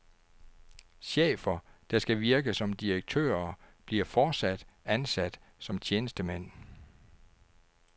Chefer, der skal virke som direktører, bliver fortsat ansat som tjenestemænd.